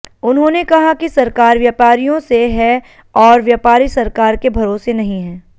उन्होंने कहा कि सरकार व्यापारियों से है और व्यापारी सरकार के भरोसे नहीं है